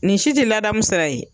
Ni si tɛ ladamu sira ye